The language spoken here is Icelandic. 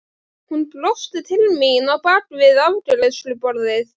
Hún brosti til mín á bak við afgreiðsluborðið.